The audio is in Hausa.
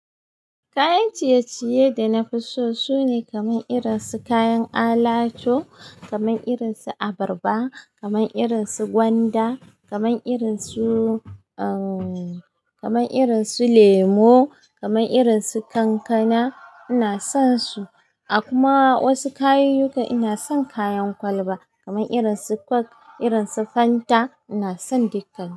Kayan ciye-ciye da na fi so sune kamar irin su kayan alatu, kamar irin su abarba, kamar irin su gwanda, kamar irin su, uh, kamar irin su lemu, kamar irin su kankana. Ina son su. Akuma wasu kayan yuka ina son kayan kwalba kamar irin su coke, irin su Fanta, ina son dukka.